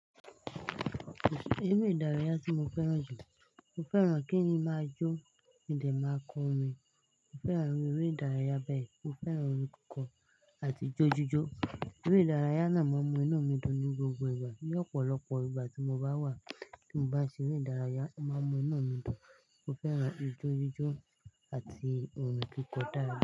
Eré ìdárayá tí mo fẹ́ràn jùlọ, mo fẹ́ràn kí n máa jó, kon de máa kọrin, mo fẹ́ràn eré ìdárayá bẹ́ẹ̀. Mo fẹ́ràn orin kíkọ àti ijó jíjó. Eré ìdárayá náà máa ń mú inú mi dùn ní gbogbo ìgbà. Ni ọ̀pọ̀lọpọ̀ ìgbà tí mo bá wà, tí mo bá ṣe eré ìdárayá, o máa ń mú inú mi dùn. Mo fẹ́ràn ijó jíjó àti òrin kíkọ dáadáa.